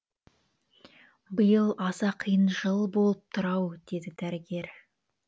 биыл аса қиын жыл болып тұр ау деді дәрігер